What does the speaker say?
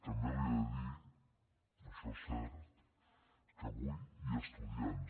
també li he de dir això és cert que avui hi ha estudiants